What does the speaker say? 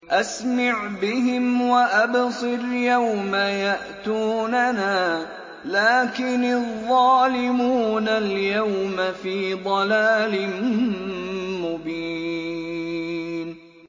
أَسْمِعْ بِهِمْ وَأَبْصِرْ يَوْمَ يَأْتُونَنَا ۖ لَٰكِنِ الظَّالِمُونَ الْيَوْمَ فِي ضَلَالٍ مُّبِينٍ